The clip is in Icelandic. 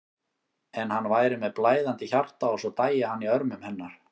En hann væri með blæðandi hjarta og svo dæi hann í örmum hennar.